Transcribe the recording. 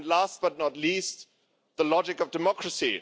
and, last but not least, the logic of democracy.